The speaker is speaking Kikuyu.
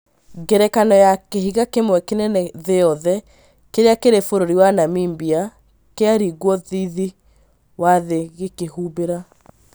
Ngerekano ya kĩhiga kĩmwe kĩnene thĩ yothe kĩrĩa kĩrĩ bũrũri wa Namibia, kĩaringwo thithi wa thĩ gĩĩkĩhumbĩra